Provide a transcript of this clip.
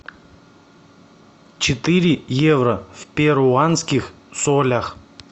четыре евро в перуанских солях